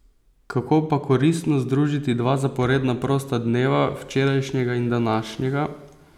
Kako pa koristno združiti dva zaporedna prosta dneva, včerajšnjega in današnjega?